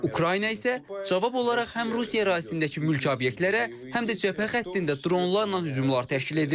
Ukrayna isə cavab olaraq həm Rusiya ərazisindəki mülki obyektlərə, həm də cəbhə xəttində dronlarla hücumlar təşkil edir.